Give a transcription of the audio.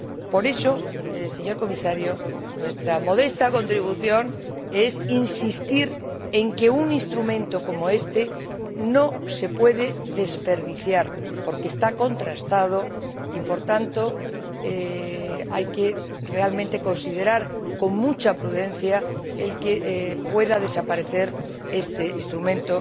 Por eso, señor Comisario, nuestra modesta contribución es insistir en que un instrumento como este no se puede desperdiciar, porque está contrastado y, por tanto, hay que considerar realmente con mucha prudencia el que pueda desaparecer este instrumento